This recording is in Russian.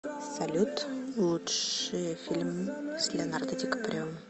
салют лучшие фильм с леонардо ди каприо